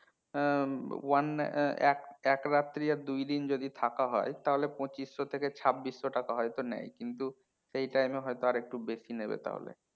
হ্যাঁ হম ওয়ান এক রাত্রি আর দুই দিন যদি থাকা হয় তাহলে পচিঁশও থেকে ছাব্বিশও টাকা হয়তো নেয় কিন্তু সেই time এ হয়তো আর একটু বেশি নেবে তাহলে